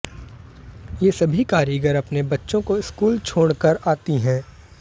ये सभी कारीगर अपने बच्चों को स्कूल छोड़कर आती हैं